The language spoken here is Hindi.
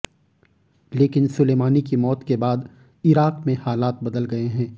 लेकिन सुलेमानी की मौत के बाद इराक में हालात बदल गए हैं